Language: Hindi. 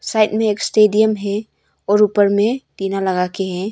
साइड में एक स्टेडियम है और ऊपर में टीना लगा के है।